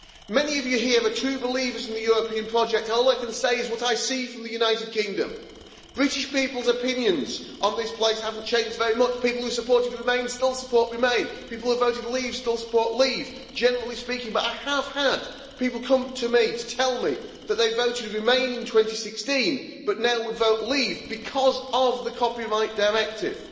Many of you here are true believers in the European project, all I can say is what I see from the United Kingdom, British people's opinions on this place haven't changed very much, people who supported remain still support remain, people who voted leave still support leave generally speaking, but I have had people come to me to tell me that they voted to remain in 2016 but now would vote leave because of the Copyright Directive.